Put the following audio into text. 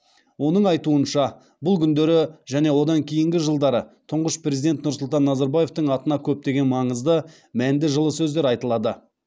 оның айтуынша бұл күндері және одан кейінгі жылдары тұңғыш президент нұрсұлтан назарбаевтың атына көптеген маңызды мәнді жылы сөздер айтылады